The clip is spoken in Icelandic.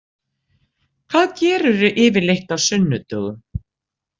Hvað gerirðu yfirleitt á sunnudögum?